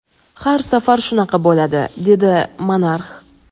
Har safar shunaqa bo‘ladi, dedi monarx.